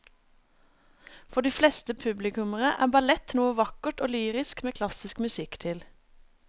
For de fleste publikummere er ballett noe vakkert og lyrisk med klassisk musikk til.